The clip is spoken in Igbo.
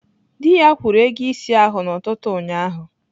Dị ya kwụrụ ego ịsị ahụ n'ụtụtụ ụnyaahụ